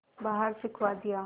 बाहर फिंकवा दिया